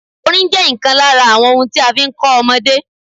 Orin jẹ́ ìkan lára àwọn ohun tí a fi ń kọ́ ọmọdé.